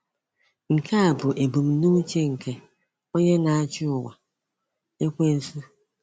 Nke a bụ ebumnuche nke “onye na-achị ụwa,” Ekwensu.